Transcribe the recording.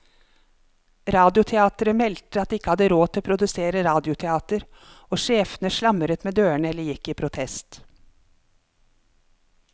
Radioteateret meldte at de ikke hadde råd til å produsere radioteater, og sjefene slamret med dørene eller gikk i protest.